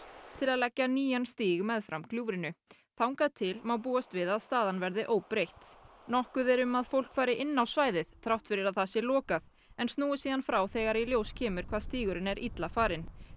til að leggja nýjan stíg meðfram gljúfrinu þangað til má búast við að staðan verði óbreytt nokkuð er um að fólk fari inn á svæðið þrátt fyrir að það sé lokað en snúi síðan frá þegar í ljós kemur hvað stígurinn er illa farinn